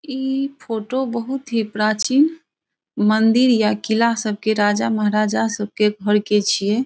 इ फोटो बहुत ही प्राचीन मंदिर या किला सबके राजा महाराजा सबके घर के छीये।